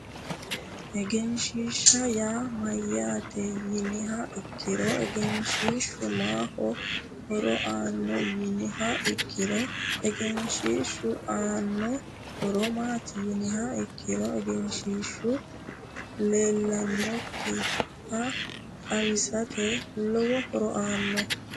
egenshiishsha yaa mayyaate yiniha ikkiro egenshiishshu maaho horo aanno yiniha ikkiro egenshiishshu Anno horo maati yiniha ikkiro egenshiishshu leellinokkiha xawisate lowo horo aanno